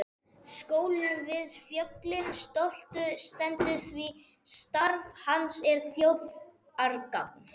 Skólinn við fjöllin stoltur stendur því starf hans er þjóðargagn.